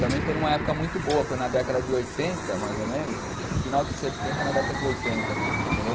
Também foi numa época muito boa, foi na década de oitenta, mais ou menos, final de setenta, na década de oitenta, entendeu?